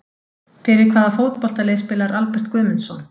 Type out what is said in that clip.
Fyrir hvaða fótboltalið spilar Albert Guðmundsson?